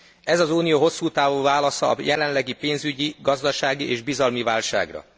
Ez az Unió hosszú távú válasza a jelenlegi pénzügyi, gazdasági és bizalmi válságra.